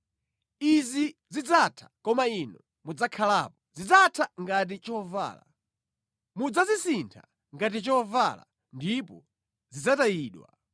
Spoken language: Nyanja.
Izi zidzatha, koma Inu mudzakhalapo; zidzatha ngati chovala. Mudzazisintha ngati chovala ndipo zidzatayidwa.